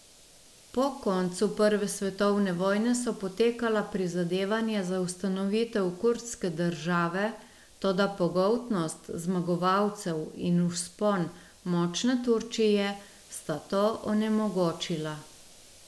Po koncu prve svetovne vojne so potekala prizadevanja za ustanovitev kurdske države, toda pogoltnost zmagovalcev in vzpon močne Turčije sta to onemogočila.